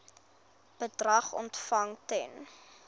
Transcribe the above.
bedrag ontvang ten